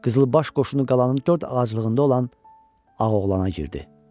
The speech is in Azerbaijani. Qızılbaş qoşunu qalanın dörd ağaclığında olan Ağoğlana girdi.